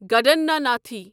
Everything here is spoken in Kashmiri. گڈاناناتھی